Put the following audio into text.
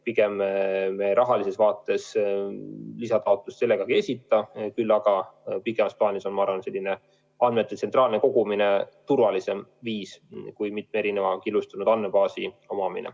Pigem me rahalises vaates lisataotlust ei esita, küll aga on pikemas plaanis andmete tsentraalne kogumine turvalisem viis kui mitme killustunud andmebaasi omamine.